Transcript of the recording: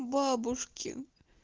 бабушки